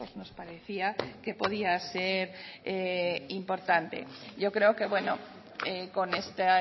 nos parecía que podía ser importante yo creo que bueno con esta